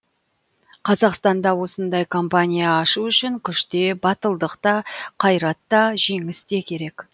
қазақстанда осындай компания ашу үшін күш те батылдық та қайрат та жеңіс те керек